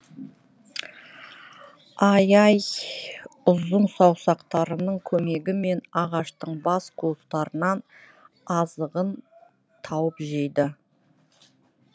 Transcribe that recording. ай ай ұзын саусақтарының көмегімен ағаштың бас қуыстарынан азығын тауып жейді